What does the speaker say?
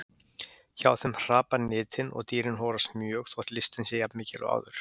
Hjá þeim hrapar nytin og dýrin horast mjög þótt lystin sé jafn mikil og áður.